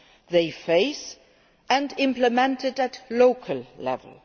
they face, and implemented at local level.